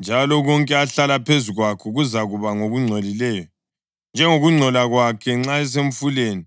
njalo konke ahlala phezu kwakho kuzakuba ngokungcolileyo, njengokungcola kwakhe nxa esemfuleni.